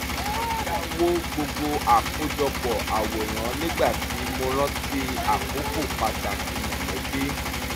mo dá wo gbogbo àkójọpọ̀ àwòrán nígbà tí mo rántí àkókò pàtàkì mọ̀lẹ́bí